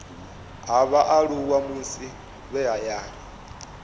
ha vhaaluwa musi vhe hayani